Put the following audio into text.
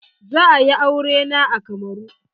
Za a yi aure na a Kamaru.